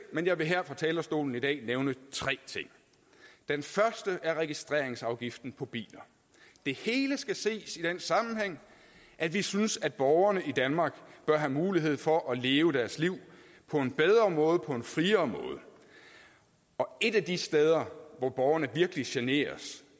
men jeg vil her fra talerstolen i dag nævne tre ting den første er registreringsafgiften på biler det hele skal ses i den sammenhæng at vi synes at borgerne i danmark bør have mulighed for at leve deres liv på en bedre måde på en friere måde et af de steder hvor borgerne virkelig generes